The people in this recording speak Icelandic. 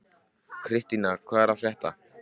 Kristína, hvað er að frétta?